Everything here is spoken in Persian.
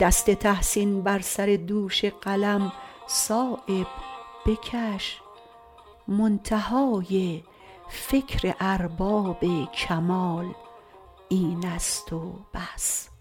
دست تحسین بر سر دوش قلم صایب بکش منتهای فکر ارباب کمال این است و بس